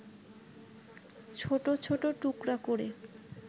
ছোট ছোট টুকরা করে